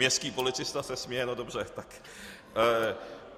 Městský policista se směje, no dobře.